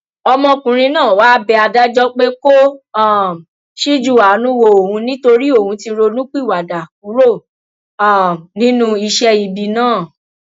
ọmọkùnrin náà wáá bẹ adájọ pé kó um ṣíjú àánú wo òun nítorí òun ti ronúpìwàdà kúrò um nínú iṣẹ ibi náà